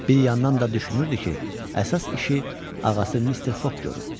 Bir yandan da düşünürdü ki, əsas işi ağası Mister Foq görüb.